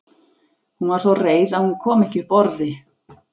Hún var svo reið að hún kom ekki upp orði.